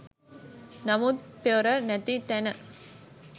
නමුත් පොර නැති තැන